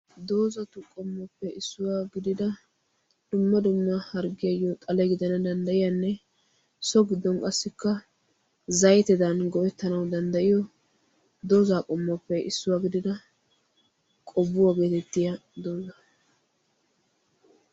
Dozattuppe issuwaa gididda dumma dumma harggiyao xalle gidanna danddayiyanne so giddon qasikka zaytteddan go'ettanawu dandayiyo doza qomottuppe issuwaa gididda qobuwaa geettetiyaa doza.